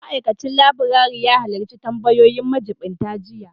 Ma'aikacin laburare ya halarci tambayoyin majiɓinta jiya